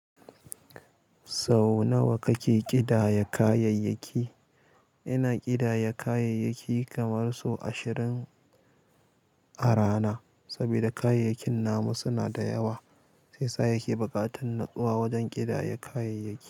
Sau nawa kake ƙidaya kayayyaki? Ina ƙidaya kayayyaki kamar sau ashirin a rana. Saboda kayayyakin namu suna da yawa, shi yasa 'sa yake bukatan nutsuwa wajen ƙidaya kayayyaki.